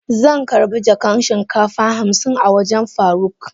Zan karba jakan shinkafa hamsin a wajen faruk.